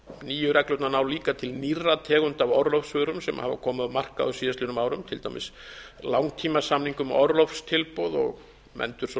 nýju reglurnar ná líka til nýrra tegunda af orlofsvörum sem hafa komið á markað á síðastliðnum árum til dæmis langtímasamninga um orlofstilboð og um endursölu og